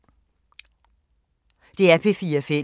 DR P4 Fælles